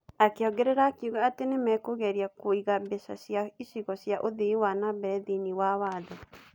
Akĩongerera akiuga atĩ nĩ makũgeria kũgĩa na mbeca cia icigo cia ũthii wa na mbere thĩinĩ wa watho.